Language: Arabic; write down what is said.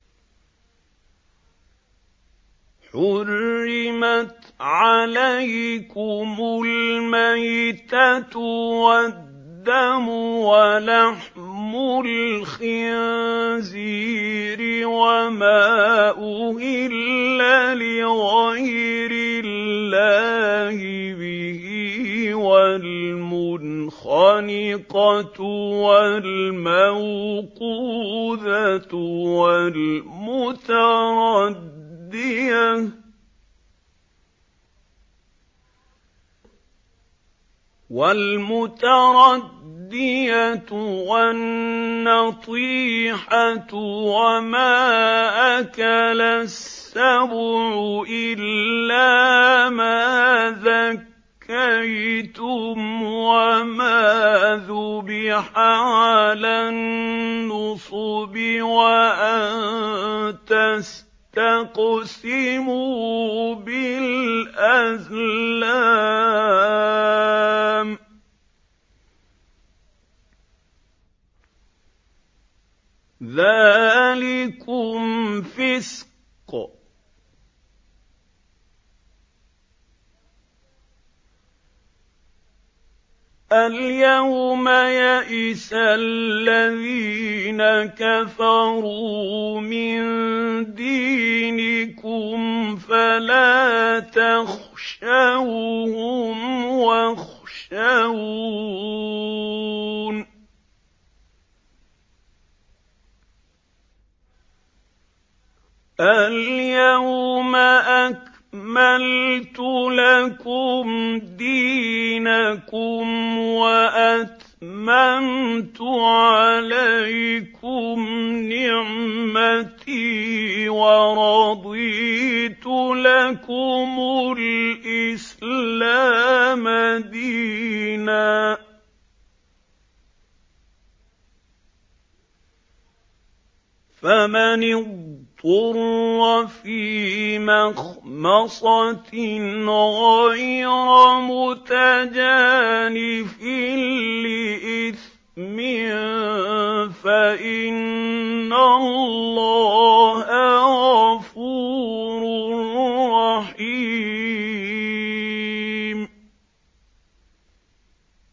حُرِّمَتْ عَلَيْكُمُ الْمَيْتَةُ وَالدَّمُ وَلَحْمُ الْخِنزِيرِ وَمَا أُهِلَّ لِغَيْرِ اللَّهِ بِهِ وَالْمُنْخَنِقَةُ وَالْمَوْقُوذَةُ وَالْمُتَرَدِّيَةُ وَالنَّطِيحَةُ وَمَا أَكَلَ السَّبُعُ إِلَّا مَا ذَكَّيْتُمْ وَمَا ذُبِحَ عَلَى النُّصُبِ وَأَن تَسْتَقْسِمُوا بِالْأَزْلَامِ ۚ ذَٰلِكُمْ فِسْقٌ ۗ الْيَوْمَ يَئِسَ الَّذِينَ كَفَرُوا مِن دِينِكُمْ فَلَا تَخْشَوْهُمْ وَاخْشَوْنِ ۚ الْيَوْمَ أَكْمَلْتُ لَكُمْ دِينَكُمْ وَأَتْمَمْتُ عَلَيْكُمْ نِعْمَتِي وَرَضِيتُ لَكُمُ الْإِسْلَامَ دِينًا ۚ فَمَنِ اضْطُرَّ فِي مَخْمَصَةٍ غَيْرَ مُتَجَانِفٍ لِّإِثْمٍ ۙ فَإِنَّ اللَّهَ غَفُورٌ رَّحِيمٌ